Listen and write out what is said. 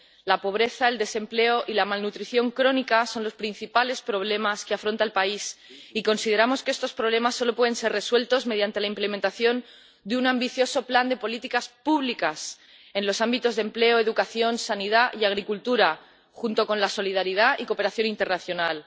La pobreza, el desempleo y la malnutrición crónica son los principales problemas que afronta el país, y consideramos que estos problemas solo pueden ser resueltos mediante la implementación de un ambicioso plan de políticas públicas en los ámbitos del empleo, la educación, la sanidad y la agricultura, junto con la solidaridad y la cooperación internacional.